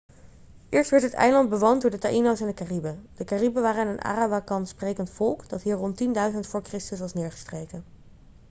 eerst werd het eiland bewoond door de taíno's en de cariben. de cariben waren een arawakan-sprekend volk dat hier rond 10.000 v.chr. was neergestreken